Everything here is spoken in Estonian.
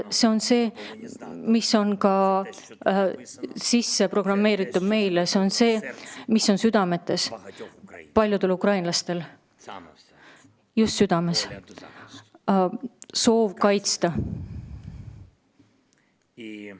See on see, mis on meile sisse programmeeritud, see on see, mis on paljude ukrainlaste südames: soov kaitsta.